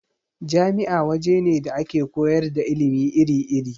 Jami'a waje ne da ake koyar da ilimi iri-iri.